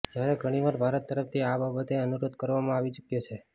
જ્યારે ઘણી વાર ભારત તરફથી આ બાબતે અનુરોધ કરવામાં આવી ચૂક્યો છે